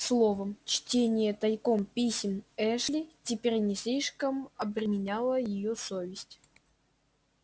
словом чтение тайком писем эшли теперь не слишком обременяло её совесть